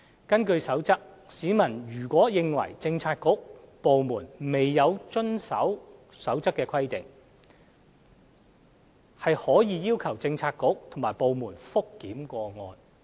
根據《守則》，市民如認為政策局/部門未有遵行《守則》的規定，可要求有關政策局/部門覆檢有關個案。